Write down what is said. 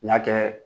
N y'a kɛ